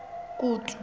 kutu